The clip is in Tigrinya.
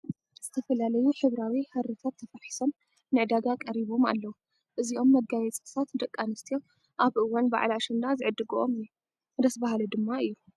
ዝተፈላለዩ ሕብራዊ ሓርታት ተፋሒሶም ንዕዳጋ ቀሪቦም ኣለዉ፡፡ እዚም መጋየፂታት ደቂ ኣንስትዮ ኣብ እዋን በዓል ኣሸንዳ ዝዕድግኦ እዩ፡፡ ደስ በሃሊ ድማ እዩ፡፡